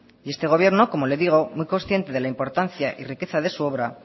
y este gobierno como le digo muy consciente de la importantica y riqueza de su obra